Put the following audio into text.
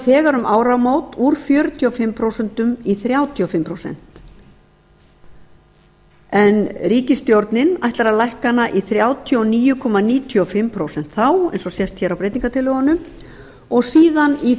þegar um áramót úr fjörutíu og fimm prósent í þrjátíu og fimm prósent en ríkisstjórnin ætlar að lækka hana í þrjátíu og níu komma níutíu og fimm prósent þá eins og sést hér á breytingartillögunum og síðan í